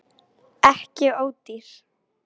Ekki ódýr